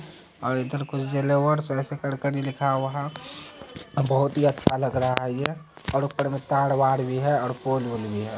इधर कुछ ज्वेलर्स ऐसा करके लिखा हुआ है बहुत ही अच्छा लग रहा है ये और ऊपर में तार-वार भी है और फोन - वॉन भी है।